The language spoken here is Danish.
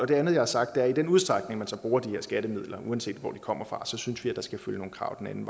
det andet jeg har sagt er at i den udstrækning man så bruger de her skattemidler uanset hvor de kommer fra så synes vi at der skal følge nogle krav med den